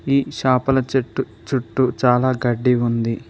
ఈ షాపుల చెట్టు చుట్టూ చాలా గడ్డి ఉంది.